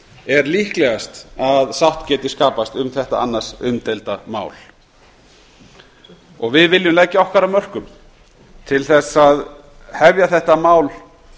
er líklegast að sátt geti skapast um þetta annars umdeild mál við viljum leggja okkar af mörkum til að hefja þetta mál